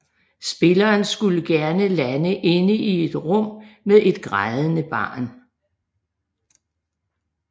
Spilleren skulle gerne lande inde i et rum med et grædende barn